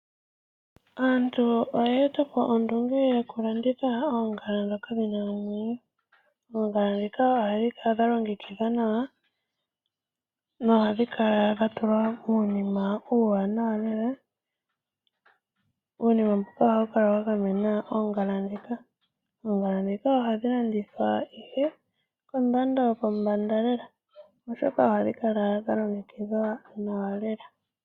Aaantu oya eta po ondunge yokulanditha oongala ndhoka dhi na omwenyo. Oongala ndhika ohadhi kala dha longekidhwa nawa nohadhi kala dha tulwa uunima uuwanawa lela. Uunima mbuka ohawu kala wa gamena oongala ndhika. Oongala ndhika ohadhi landithwa ihe kondando yopombanda lela, oshoka ohadhi kala dha longekidhwa nawa.